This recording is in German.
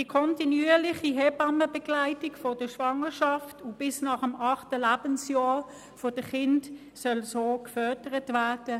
Die kontinuierliche Hebammenbegleitung von der Schwangerschaft bis nach der achten Lebenswoche der Kinder soll so gefördert werden.